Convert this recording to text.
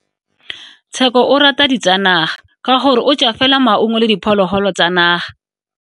Tsheko o rata ditsanaga ka gore o ja fela maungo le diphologolo tsa naga.